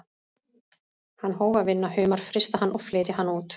Hann hóf að vinna humar, frysta hann og flytja hann út.